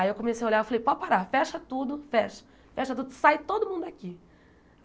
Aí eu comecei a olhar, falei, pode parar, fecha tudo, fecha, fecha tudo, sai todo mundo daqui.